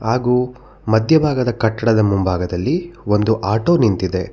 ಹಾಗು ಮದ್ಯ ಭಾಗದ ಕಟ್ಟಡದ ಮುಂಭಾಗದಲ್ಲಿ ಒಂದು ಆಟೋ ನಿಂತಿದೆ.